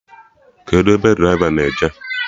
Kedụ ebe draịva na-eje?